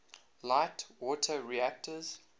light water reactors